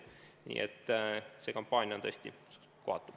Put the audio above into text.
Nii et see kampaania on tõesti kohatu.